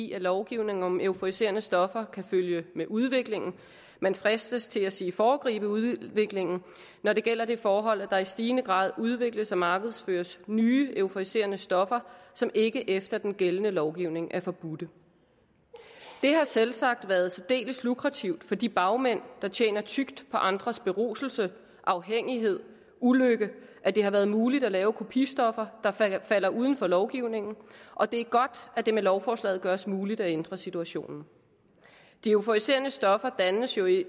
i at lovgivning om euforiserende stoffer kan følge med udviklingen man fristes til at sige foregribe udviklingen når det gælder det forhold at der i stigende grad udvikles og markedsføres nye euforiserende stoffer som ikke efter den gældende lovgivning er forbudte det har selvsagt været særdeles lukrativt for de bagmænd der tjener tykt på andres beruselse afhængighed ulykke at det har været muligt at lave kopistoffer der falder uden for lovgivningen og det er godt at det med lovforslaget gøres muligt at ændre situationen de euforiserende stoffer dannes jo ikke